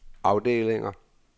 afdelinger